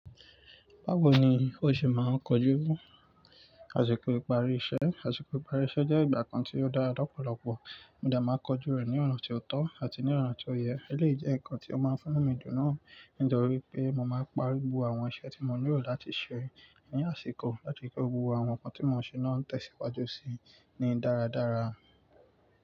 Báwo ni o ṣe máa ń kojú àsìkò ìparí iṣẹ́? Àsìkò ìparí iṣẹ́ jẹ́ ìgbà kan tí ó dára lọ́pọ̀lọpọ̀, mo de màá kojú rẹ̀ ní ọ̀ràn tó tọ́ àti ní ọ̀nà tó yẹ. Elèyi jẹ́ ǹkan tí ó máa ń fún nu mi dun náà. Ni tòrípé mo máa n parí gbogbo àwọn iṣẹ́ tí mo nílò láti ṣe ní àsìkò láti ri pé gbogbo àwọn ǹkan tí mo ń ṣe náà ń tẹ̀síwájú sí i ní dáradára.